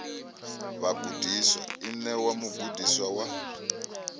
vhagudiswa i ṋewa mugudiswa wa